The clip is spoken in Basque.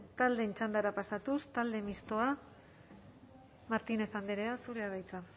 taldeen txandara pasatuz talde mistoa martínez andrea zurea da hitza